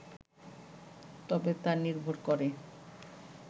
তবে তা নির্ভর করে